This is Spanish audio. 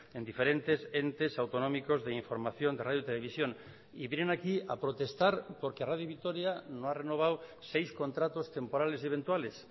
en diferentes entes autonómicos de información de radio televisión y vienen aquí a protestar porque radio vitoria no ha renovado seis contratos temporales y eventuales